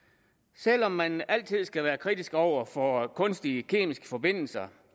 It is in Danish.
selv om man altid skal være kritisk over for kunstige kemiske forbindelser